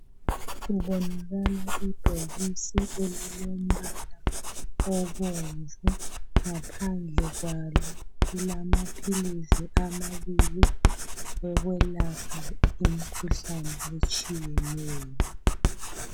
Kubonakala ibhokisi elilombala obomvu. Ngaphandle kwalo kulamaphilisi amabili okwelapha imkhuhlane etshiyeneyo.